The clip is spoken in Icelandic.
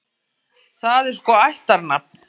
Það er sko ættarnafn.